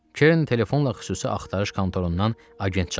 Kerin telefonla xüsusi axtarış kontorundan agent çağırdı.